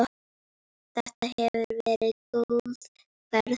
Þetta hefur verið góð ferð.